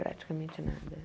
Praticamente nada.